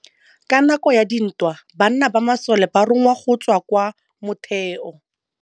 Ka nakô ya dintwa banna ba masole ba rongwa go tswa kwa mothêô.